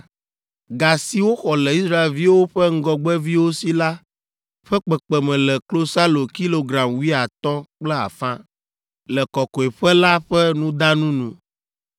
Ga si woxɔ le Israelviwo ƒe ŋgɔgbeviwo si la ƒe kpekpeme le klosalo kilogram wuiatɔ̃ kple afã ( 5) le kɔkɔeƒe la ƒe nudanu nu